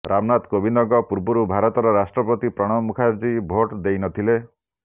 ରାମନାଥ କୋବିନ୍ଦଙ୍କ ପୂର୍ବରୁ ଭାରତର ରାଷ୍ଟ୍ରପତି ପ୍ରଣବ ମୁଖାର୍ଜୀ ଭୋଟ ଦେଇନଥିଲେ